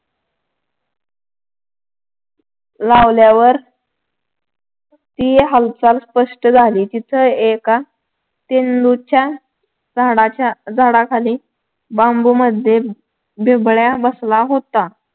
लावल्यावर ती हालचाल स्पष्ट झाली तिथे एका झेंडूच्या झाडाच्या झाडाखाली बांबूमध्ये बिबळ्या बसला होता.